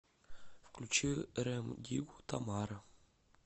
включи рем диггу тамара